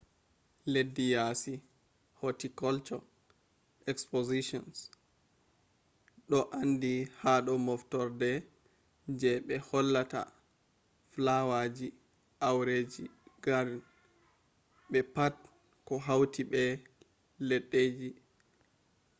leddi yasi horticulture expositions do andi hado moftorde je be hollata flowerji aureji garden be pat koh hauti be leddeji